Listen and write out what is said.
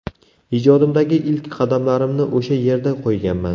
Ijodimdagi ilk qadamlarimni o‘sha yerda qo‘yganman.